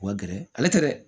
U ka gɛrɛ ale tɛ dɛ